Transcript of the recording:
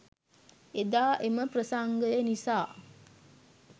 එදා එම ප්‍රසංගය නිසා